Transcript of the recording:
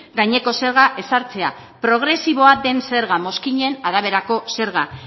gaineko zerga ezartzea progresiboa den zerga mozkinen araberako zerga